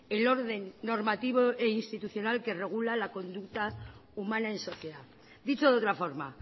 el orden normativo e institucional que regula la conducta humana en sociedad dicho de otra forma